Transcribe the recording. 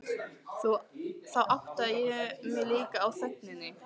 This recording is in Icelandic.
Þá áttaði ég mig líka á þögninni.